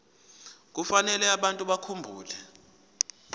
kufanele abantu bakhumbule